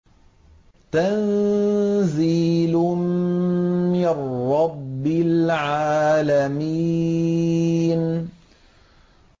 تَنزِيلٌ مِّن رَّبِّ الْعَالَمِينَ